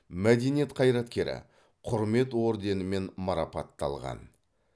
мәдениет қайраткері құрмет орденімен марапатталған